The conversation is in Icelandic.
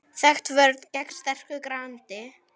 Þekkt vörn gegn sterku grandi.